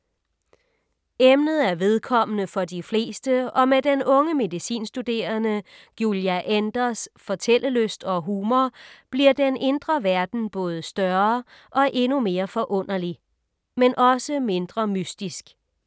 Emnet er vedkommende for de fleste og med den unge medicinstuderende Giulia Enders’ fortællelyst og humor, bliver den indre verden både større og endnu mere forunderlig. Men også mindre mystisk.